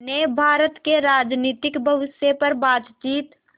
ने भारत के राजनीतिक भविष्य पर बातचीत